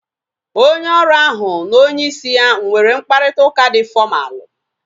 Onye ọrụ ahu na onye isi ya nwere mkparịta ụka dị fọmalu